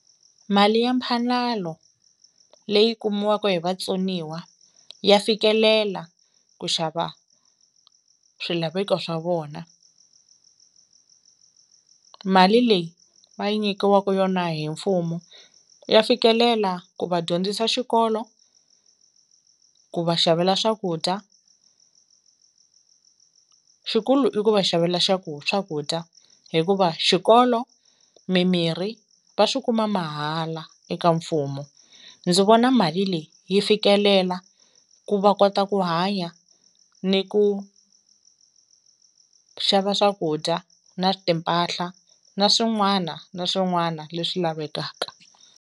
Mali ya mphalalo leyi kumiwaku hi vatsoniwa ya fikelela ku xava swilaveko swa vona. Mali leyi va yi nyikiwaku yona hi mfumo ya fikelela ku va dyondzisa xikolo ku va xavela swakudya, xikulu i ku va xavela xa ku swakudya hikuva xikolo mimirhi va swikuma mahala eka mfumo. Ndzi vona mali leyi yi fikelela ku va kota ku hanya ni ku xava swakudya na timpahla na swin'wana na swin'wana leswi lavekaka.